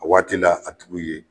A waati la a tuguw ye